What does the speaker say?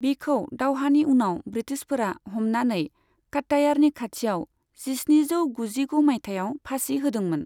बिखौ दावहानि उनाव ब्रिटिशफोरा हमनानै कात्तायारनि खाथियाव जिस्निजौ गुजिगु मायथाइयाव फासि होदोंमोन।